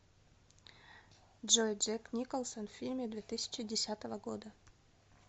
джой джек николсон в фильме две тысячи десятого года